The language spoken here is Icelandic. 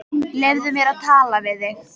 Leyfðu mér að tala við þig!